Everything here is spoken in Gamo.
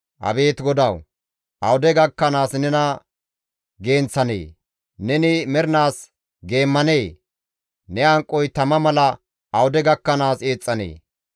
Abeet GODAWU! Awude gakkanaas nena genththanee? Neni mernaas geemmanee? Ne hanqoy tama mala awude gakkanaas eexxanee?